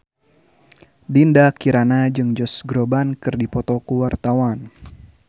Dinda Kirana jeung Josh Groban keur dipoto ku wartawan